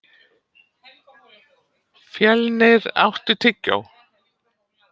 Fjölnir, áttu tyggjó?